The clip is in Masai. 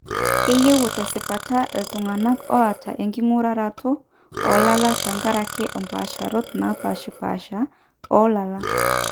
keyieu tesipata iltung'anak oata enking'uraroto oolala tenkaraki umpaasharot naapaashipasha oolala.